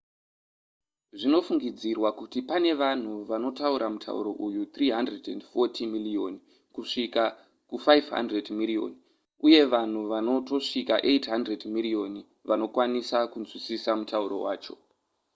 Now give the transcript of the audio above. zvinofungidzirwa kuti pane vanhu vanotaura mutauro uyu 340 miriyoni kusvika ku500 miriyoni uye vanhu vanotosvika 800 miriyoni vanokwanisa kunzwisisa mutauro wacho